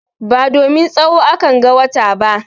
Ba domin tsawo akan ga wata ba.